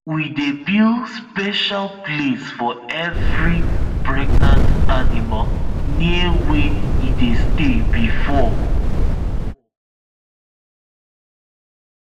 we dey build special place for every pregnant animal near where e dey stay before